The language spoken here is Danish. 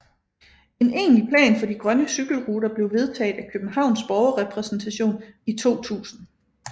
En egentlig plan for de grønne cykelruter blev vedtaget af Københavns Borgerrepræsentation i 2000